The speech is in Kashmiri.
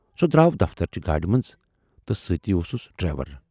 سُہ دراو دفترٕچہِ گاڑِ منز تہٕ سۭتۍ اوسُس ڈرائیور۔